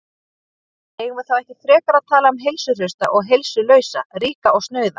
Eigum við þá ekki frekar að tala um heilsuhrausta og heilsulausa, ríka og snauða?